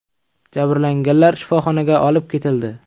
Jabrlanganlar shifoxonaga olib ketildi.